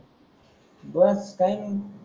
बस काही नाही मग.